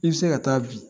I bɛ se ka taa bi